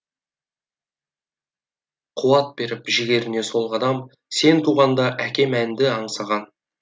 қуат беріп жігеріне сол қадам сен туғанда әкем әнді аңсаған